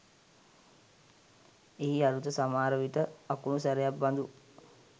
එහි අරුත සමහරවිට අකුණු සැරයක් බඳු